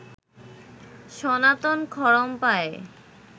সনাতন খড়ম পায়ে